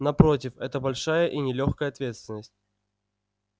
напротив это большая и нелёгкая ответственность